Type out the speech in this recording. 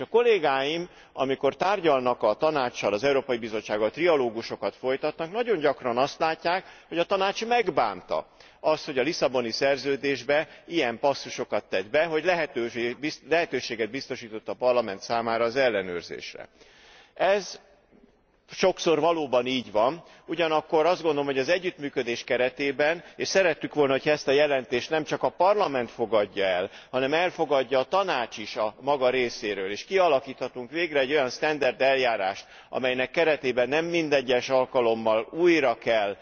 S a kollégáim, amikor tárgyalnak a Tanáccsal, az Európai Bizottsággal, trialógusokat folytatnak, nagyon gyakran azt látják, hogy a Tanács megbánta azt, hogy a Lisszaboni Szerződésbe ilyen passzusokat tett be, hogy lehetőséget biztosított a Parlament számára az ellenőrzésre. Ez sokszor valóban így van, ugyanakkor azt gondolom, hogy az együttműködés keretében, és szerettük volna, hogyha ezt a jelentést nemcsak a Parlament fogadja el, hanem elfogadja a Tanács is a maga részéről, és kialakíthatunk végre egy olyan sztenderd eljárást, amelynek keretében nem minden egyes alkalommal újra kell